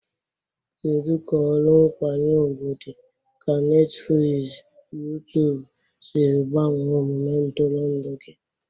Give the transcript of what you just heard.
Kedu ka ọrụ nkwanye ugwu dị ka Netifiliizi youtube siri gbanwee omume ntụrụndụ gị?